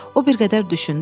O bir qədər düşündü.